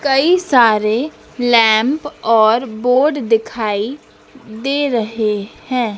कई सारे लैंप और बोर्ड दिखाई दे रहे हैं।